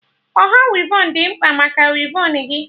Ọha wivon dị mkpa maka wivon gị